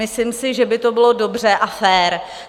Myslím si, že by to bylo dobře a fér.